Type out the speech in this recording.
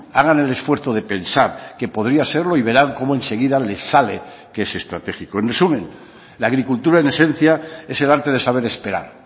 hagan el esfuerzo de pensar que podría serlo y verán como enseguida les sale que es estratégico en resumen la agricultura en esencia es el arte de saber esperar